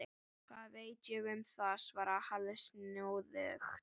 Hvað veit ég um það? svaraði Halli snúðugt.